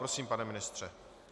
Prosím, pane ministře.